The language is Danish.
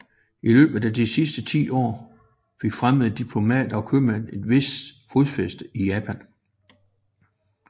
I løbet af disse ti år fik fremmede diplomater og købmænd et vist fodfæste i Japan